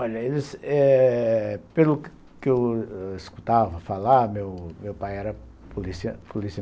Olha, eh pelo que eu escutava falar, meu pai era polícia polícia